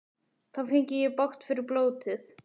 Þá fengi ég bágt fyrir blótið.